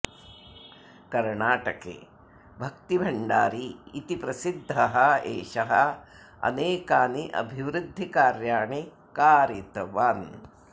कर्णाटके भक्तिभण्डारी इति प्रसिध्दः एषः अनेकानि अभिवृद्धिकार्याणि कारितवान्